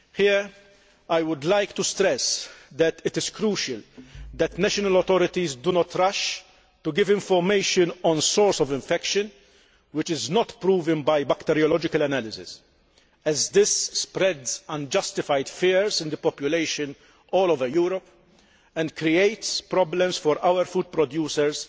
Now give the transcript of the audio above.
Here, I should stress that it is crucial that national authorities do not rush to give information on any source of infection which is not proven by bacteriological analysis, as this spreads unjustified fears in the population all over Europe and creates problems for our food producers